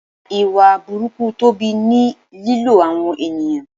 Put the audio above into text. Ìwà burúkú Tobi ni lílo àwọn ènìyàn.